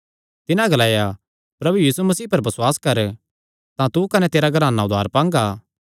तिन्हां ग्लाया प्रभु यीशु मसीह पर बसुआस कर तां तू कने तेरा घराना उद्धार पांगा